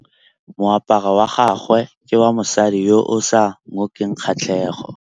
Moaparô wa gagwe ke wa mosadi yo o sa ngôkeng kgatlhegô.